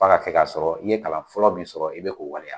F'a ka kɛ ka sɔrɔ i ye kalan fɔlɔ min sɔrɔ i be k'o waleya.